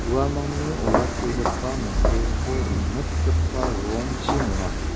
uamangni olakkigipa miteko rimitgipa rongchi nonga.